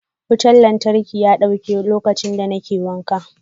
Wutan lantarki ya dauke lokaci da ne ke wanka.